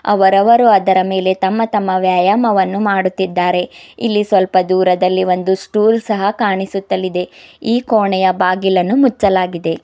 ಅವರವರು ಅದರ ಮೇಲೆ ತಮ್ಮ ತಮ್ಮ ವ್ಯಾಯಾಮವನ್ನು ಮಾಡುತ್ತಿದ್ದಾರೆ ಇಲ್ಲಿ ಸ್ವಲ್ಪ ದೂರದಲ್ಲಿ ಒಂದು ಸ್ಟೂಲ್ ಸಹ ಕಾಣಿಸುತ್ತಲಿದೆ ಈ ಕೋಣೆಯು ಬಾಗಿಲನ್ನು ಮುಚ್ಚಲಾಗಿದೆ.